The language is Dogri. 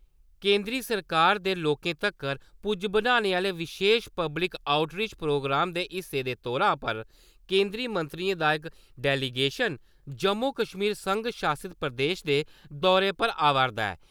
केंदरी सरकार दे लोकें तक्कर पुज्ज बनाने आह्ले विशेश पब्लिक आउटरीच प्रोग्राम दे हिस्से दे तौर केंदरी मंत्रियें दा इक डेलीगेशन जम्मू-कश्मीर संघ शासत प्रदेश दे दौरे पर आवा 'रदा ऐ।